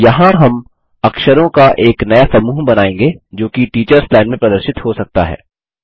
यहाँ हम अक्षरों का एक नया समूह बनाएँगे जोकि टीचर्स लाइन में प्रदर्शित हो सकता है